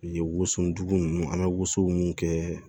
Wosonjugu ninnu an bɛ woso mun kɛ